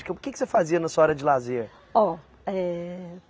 O que que você fazia na sua hora de lazer? Ó, eh